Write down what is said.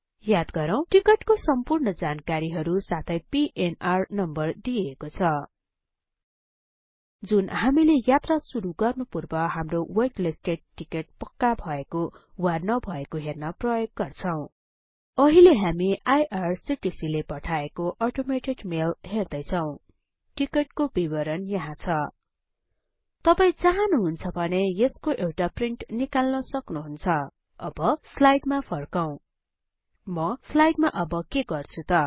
याद गरौँ टिकटको सम्पूर्ण जानकारीहरु साथै पीएनआर नम्बर दिइएको छ जुन हामीले यात्रा सुरु गर्नुपूर्व हाम्रो वेट लिस्टेड टिकट पक्का भएको वा नभएको हेर्न प्रयोग गर्छौं अहिले हामी आईआरसीटीसी ले पठाएको अटोमेटेड मेल हेर्दै छौं टिकटको विवरण यहाँ छ तपाई चाहनुहुन्छ भने यसको एउटा प्रिन्ट निकाल्न सक्नुहुन्छ अब स्लाइडमा फर्कौं म स्लाइडमा अब के गर्छु त